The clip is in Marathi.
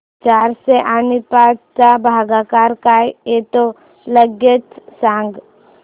चारशे आणि पाच चा भागाकार काय येतो लगेच सांग